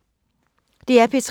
DR P3